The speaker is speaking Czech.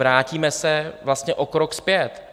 Vrátíme se vlastně o krok zpět.